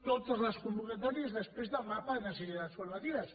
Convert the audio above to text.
totes les convocatòries després del mapa de necessitats formatives